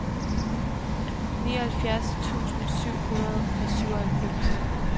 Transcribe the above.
nioghalvfjerds tusind syv hundrede og syvoghalvfems